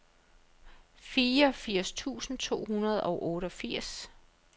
firs tusind to hundrede og otteogfirs